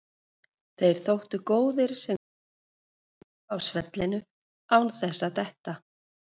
Þeir þóttu góðir sem gátu dansað polka á svellinu án þess að detta.